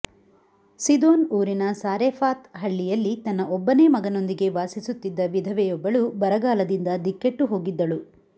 ಸಿದೋನ್ ಊರಿನ ಸಾರೆಫಾತ್ ಹಳ್ಳಿಯಲ್ಲಿ ತನ್ನ ಒಬ್ಬನೇ ಮಗನೊಂದಿಗೆ ವಾಸಿಸುತ್ತಿದ್ದ ವಿಧವೆಯೊಬ್ಬಳು ಬರಗಾಲದಿಂದ ದಿಕ್ಕೆಟ್ಟುಹೋಗಿದ್ದಳು